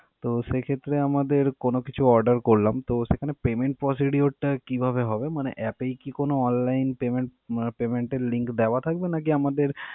তো সেক্ষেত্রে আমাদের কোনো কিছু order করলাম তো সেখানে payment procedure কিভাবে হবে? মানে app এই কি কোনো online payment এর link দেওয়া থাকবে নাকি আমাদের.